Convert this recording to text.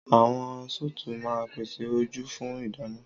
Àwọn sùùtù máa ń pèsè ojú fún ìdáná.